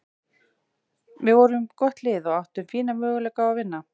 Við vorum gott lið og áttum fína möguleika á að vinna.